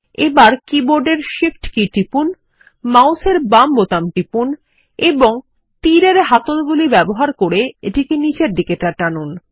এখন কীবোর্ডের shift key টিপুন মাউসের বাম বোতাম টিপুন এবং তীর এর হাতল ব্যবহার করে এটি নিচে টানুন